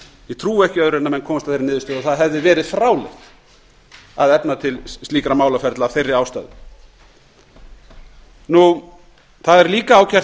ég trúi ekki öðru en menn komist að þeirri niðurstöðu að það hefði verið fráleitt að efna til slíkra málaferla af þeirri ástæðu það er líka ágætt